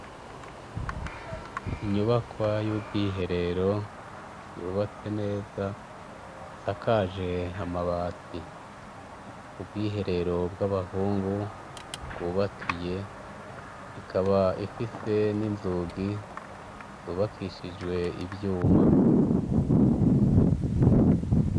Inyubaka y'ubwiherero yubatse neza isakaje hamabati ubwiherero bw'abahungu bwubakiye ikaba ifise n'inzugi zubakishijwe ivyuma.